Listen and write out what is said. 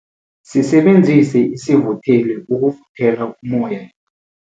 Sisebenzise isivutheli ukuvuthela ummoya